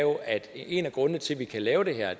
en af grundene til at vi kan lave det her